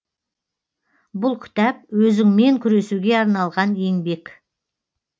бұл кітап өзіңмен күресуге арналған еңбек